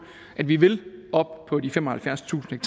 at vi vil op på de femoghalvfjerdstusind